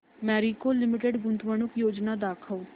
Marico limited गुंतवणूक योजना दाखव